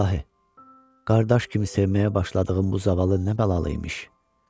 İlahi, qardaş kimi sevməyə başladığım bu zavallı nə bəlalı imiş?